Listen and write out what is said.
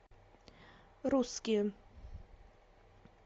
русские